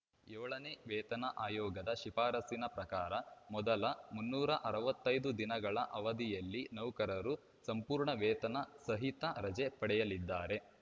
ಏಳನೇ ವೇತನ ಆಯೋಗದ ಶಿಫಾರಸಿನ ಪ್ರಕಾರ ಮೊದಲ ಮುನ್ನೂರ ಅರವತ್ತೈದು ದಿನಗಳ ಅವಧಿಯಲ್ಲಿ ನೌಕರರು ಸಂಪೂರ್ಣ ವೇತನ ಸಹಿತ ರಜೆ ಪಡೆಯಲಿದ್ದಾರೆ